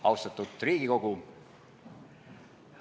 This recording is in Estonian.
Austatud Riigikogu!